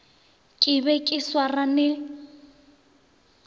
ke be ke sa swarane